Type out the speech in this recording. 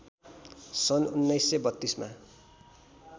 सन् १९३२ मा